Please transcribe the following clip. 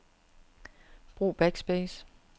Brug backspace.